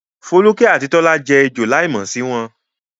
Foluke àti Tola jẹ́ ejò láìmọ̀ sí wọn.